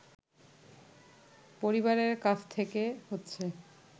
পরিবারের কাছ থেকে হচ্ছে